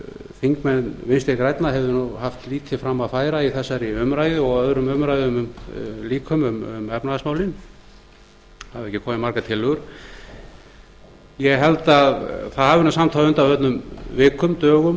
þingmenn vinstri grænna hefðu haft lítið fram að færa í þessari umræðu og öðrum umræðum líkum um efnahagsmálin það hafi ekki komið margar tillögur ég held að það hafi samt á undanförnum dögum vikum mánuðum